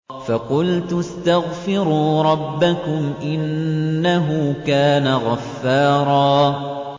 فَقُلْتُ اسْتَغْفِرُوا رَبَّكُمْ إِنَّهُ كَانَ غَفَّارًا